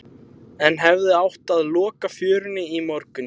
En hefði átt að loka fjörunni í morgun?